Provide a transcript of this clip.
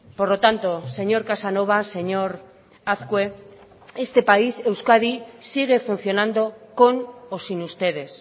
por lo tanto señor casanova señor azkue este país euskadi sigue funcionando con o sin ustedes